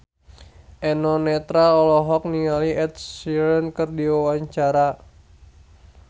Eno Netral olohok ningali Ed Sheeran keur diwawancara